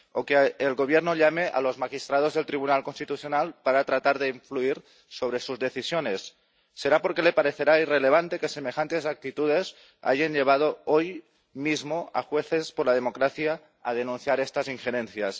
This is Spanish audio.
o que el Gobierno llame a los magistrados del Tribunal Constitucional para tratar de influir sobre sus decisiones. Será porque le parecerá irrelevante que semejantes actitudes hayan llevado hoy mismo a Jueces para la Democracia a denunciar estas injerencias.